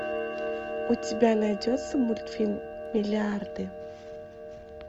у тебя найдется мультфильм миллиарды